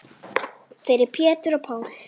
Fyrir Pétur og Pál.